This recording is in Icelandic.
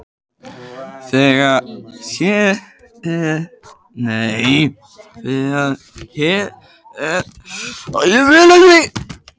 Þegar hér er komið sögu hefur gulbúið lokið hlutverki sínu og hrörnar.